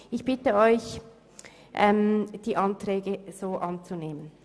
Ich bitte Sie, die Anträge anzunehmen.